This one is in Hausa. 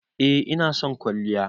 eh ina son kwalliya.